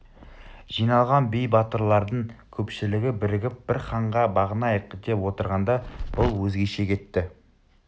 жиналған би батырлардың көпшілігі бірігіп бір ханға бағынайық деп отырғанда бұл өзгеше кетті